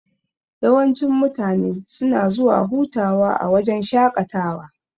Yawancin mutane suna zuwa hutawa a wajan shaƙatawa.